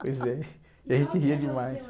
Pois é, e a gente ria demais.